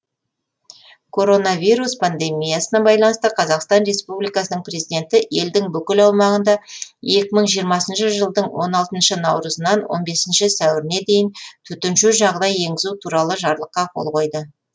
коронавирус пандемиясына байланысты қазақстан республикасының президенті елдің бүкіл аумағында екі мың жиырмасыншы жылдың он алтыншы наурызынан он бесінші сәуіріне дейін төтенше жағдай енгізу туралы жарлыққа қол қойды